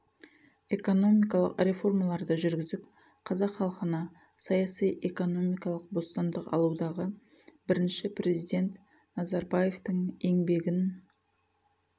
экономикалық реформаларды жүргізіп қазақ халқына саяси экономикалық бостандық алудағы бірінші президент назарбаевтың еңбегін